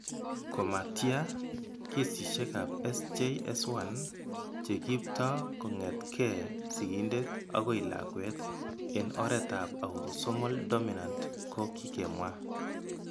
Ko ma tia, kesishekab SJS1 che kiipto kong'etke sigindet akoi lakwet eng' oretab autosomal dominant ko kikemwa.